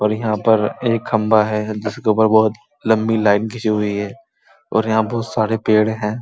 और इहां पर एक खंबा है जिसके ऊपर बहोत लम्बी लाइन घीचि हुई है और यहाँ बहुत सारे पेड़ हैं।